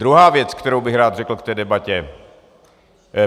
Druhá věc, kterou bych rád řekl k té debatě.